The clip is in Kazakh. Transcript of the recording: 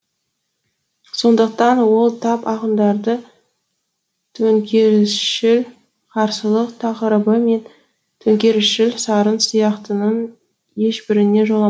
сондықтан ол тап ақындары төңкерісшіл қарсылық тақырыбы мен төңкерісшіл сарын сияқтының ешбіріне жоламайды